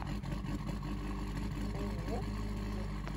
ооо лидер